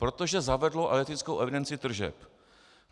Protože zavedlo elektrickou evidenci tržeb.